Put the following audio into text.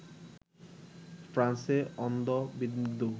ফ্রান্সে অন্ধবিন্দু